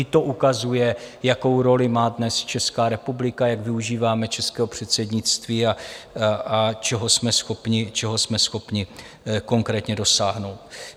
I to ukazuje, jakou roli má dnes Česká republika, jak využíváme českého předsednictví a čeho jsme schopni konkrétně dosáhnout.